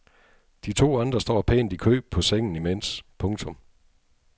De to andre står pænt i kø på sengen imens. punktum